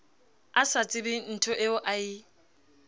a sa tsebenthoeo a e